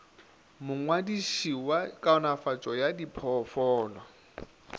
mongwadiši wa kaonafatšo ya diphoofolo